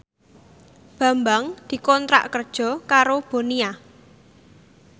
Bambang dikontrak kerja karo Bonia